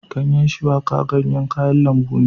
Ganyen shuwaka ganyen kayan lambu ne